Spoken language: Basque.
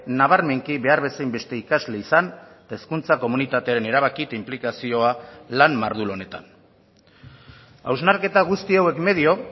nabarmenki behar bezain beste ikasle izan eta hezkuntza komunitatearen erabaki eta inplikazioa lan mardul honetan hausnarketa guzti hauek medio